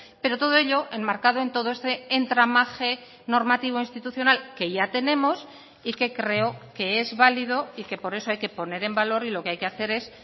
pero todo ello en marcado en todo este entramaje normativo institucional que ya tenemos y que creo que es válido y que por eso hay que poner en valor y lo que hay que hacer es